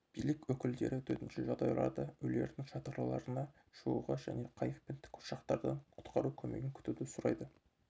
билік өкілдері төтенше жағдайларда үйлердің шатырларына шығуға және қайық пен тікұшақтардан құтқару көмегін күтуді сұрайды